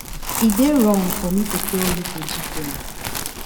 e dey wrong for me to tell you to do ten